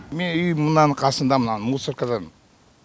менің үйім мынаның қасында мынаның мусоркадан